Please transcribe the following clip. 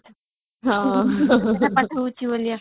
ହଁ pass ହଉଛି ବୋଲିକା